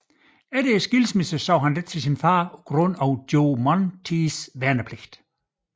Efter skilsmissen så han lidt til sin far på grund af Joe Monteiths værnepligt